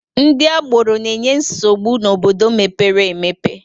Ndị agboro na-enye nsogbu n'obodo mepere emepe